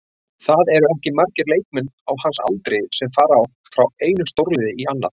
Það eru ekki margir leikmenn á hans aldri sem fara frá einu stórliði í annað.